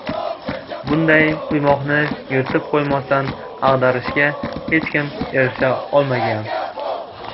Bunday quymoqni yirtib qo‘ymasdan ag‘darishga hech kim erisha olmagan.